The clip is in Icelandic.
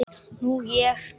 Nú ég.